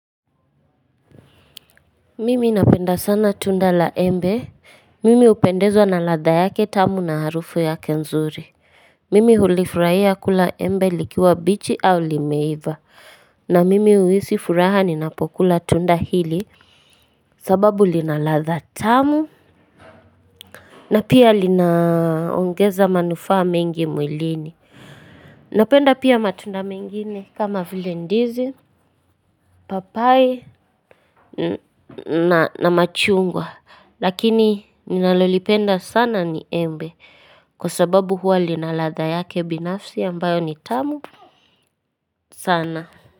Mimi napenda sana tunda la embe Mimi upendezwa na ladha yake tamu na harufu yake nzuri Mimi hulifurahia kula embe likiwa bichi au limeiva na mimi uisi furaha ninapokula tunda hili sababu linaladha tamu na pia linaongeza manufaa mengi mwilini Napenda pia matunda mengine kama vile ndizi papai na machungwa lakini ninalolipenda sana ni embe kwa sababu huwa linaladha yake binafsi ambayo ni tamu sana.